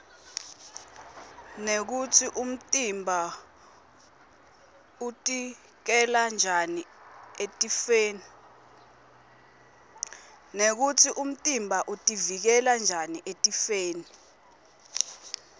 nekutsi umtimba utiuikela njani etifwoni